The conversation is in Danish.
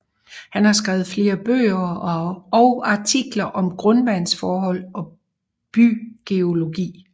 Han har skrevet flere bøger og artikler om grundvandsforhold og bygeologi